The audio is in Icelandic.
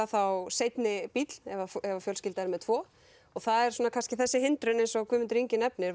þá seinni bíll ef fjölskyldan er með tvo og það er kannski þessi hindrun eins og Guðmundur nefnir